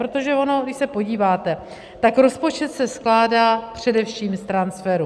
Protože ono když se podíváte, tak rozpočet se skládá především z transferů.